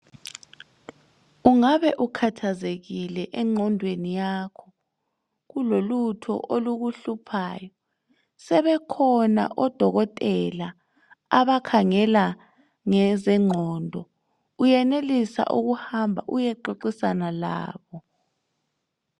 Ungabe ukhathazekile engqondweni yakho, kulolutho olukuhluphayo? Sebekhona odokotela abakhangela ngezengqondo, uyenelisa ukuhamba uyexoxisana labo.